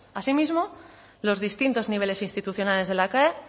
así mismo los distintos niveles institucionales de la cae